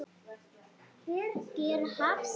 Birgir Hafst.